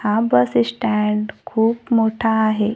हा bus stand खूप मोठा आहे.